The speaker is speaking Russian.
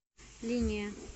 линия